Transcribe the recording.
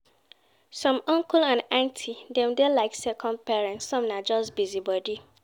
Some uncle and aunty dem dey like second parents, some na just busybody.